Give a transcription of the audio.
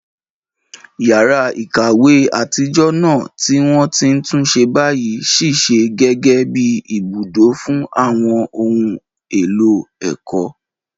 Yàrá ìkàwé àtijọ́ náà, tí wọ́n ti tún ṣe báyìí, ṣiṣẹ́ gẹ́gẹ́ bí ibùdó fún àwọn ohun èlò ẹ̀kọ́.